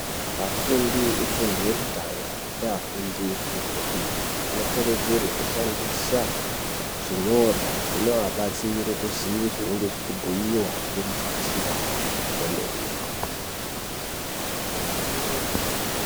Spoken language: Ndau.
Afundi efundo yekutanga ngeafundi efundo yepiri. Anokurudzirwe kushandisa zvinyorwa zvinoabatsire kuziye zvinenge zvichibhuiva ngemudzidzisi vavo kwemene.